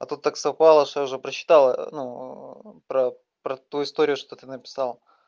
а то так совпало что я уже прочитал ну про про ту историю что ты написал